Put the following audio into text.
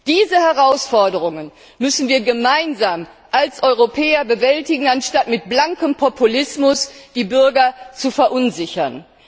Diese Herausforderungen müssen wir gemeinsam als Europäer bewältigen, anstatt mit blankem Populismus die Bürger zu verunsichern.